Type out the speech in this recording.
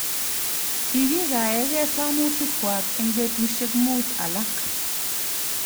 Kikikaegei somutikwa eng betusiek muut alak